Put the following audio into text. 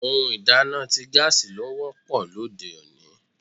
Ohun ìdáná ti gaasi ló wọ́pọ̀ lóde òní.